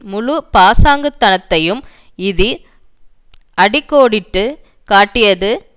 முழு பாசாங்குத்தனத்தையும் இது அடி கோடிட்டு காட்டியது